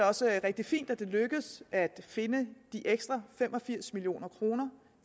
også rigtig fint at det er lykkedes at finde de ekstra fem og firs million kroner